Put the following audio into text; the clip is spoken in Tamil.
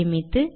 சேமித்து